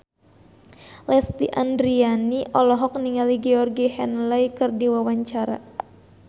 Lesti Andryani olohok ningali Georgie Henley keur diwawancara